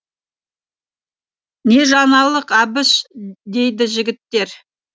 не жаңалық әбіш дейді жігіттер